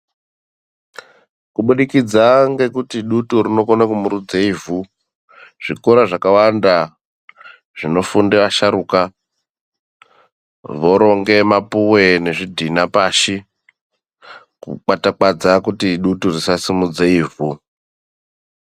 Kubudikidza ngekuti dutu rinokone kumurudze ivhu, zvikora zvakawanda zvinofunde asharuka voronge mapuwe nezvidhina pashi kukwatakwadza kuti dutu risasimudze ivhu.